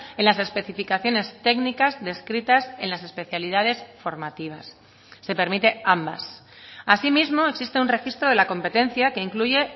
en las especificaciones técnicas descritas en las especialidades formativas se permite ambas asimismo existe un registro de la competencia que incluye